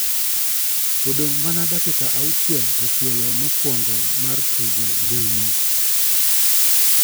odong' mana dakika auchiel to tielo mokuong'o mar tugo rumo.